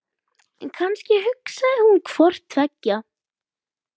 En kannski hugsaði hún hvort tveggja.